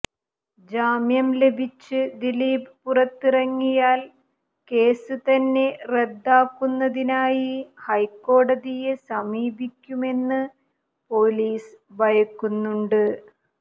ജാമ്യം ലഭിച്ച് ദിലീപ് പുറത്തിറങ്ങിയാൽ കേസ് തന്നെ റദ്ദാക്കുന്നതിനായി ഹൈക്കോടതിയെ സമീപിക്കുമെന്ന് പൊലീസ് ഭയക്കുന്നുണ്ട്